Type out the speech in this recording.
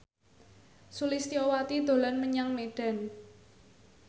Sulistyowati dolan menyang Medan